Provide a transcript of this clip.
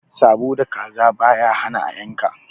Sabo da kaza baya hana a yanka.